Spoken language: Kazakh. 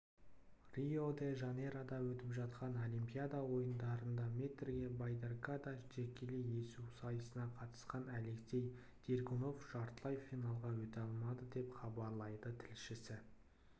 рио-де-жанейрода өтіп жатқан олимпиада ойындарында метрге байдаркада жекелей есу сайысына қатысқан алексей дергунов жартылай финалға өте алмады деп хабарлайды тілшісі